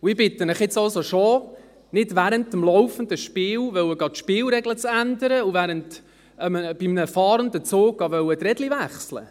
Und ich bitte Sie jetzt also schon, nicht während dem laufenden Spiel die Spielregeln zu ändern und bei einem fahrenden Zug die Räder zu wechseln.